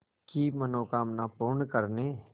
की मनोकामना पूर्ण करने